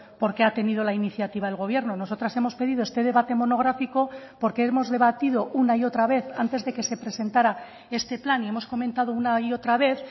porque ha tenido la iniciativa el gobierno nosotras hemos pedido este debate monográfico porque hemos debatido una y otra vez antes de que se presentara este plan y hemos comentado una y otra vez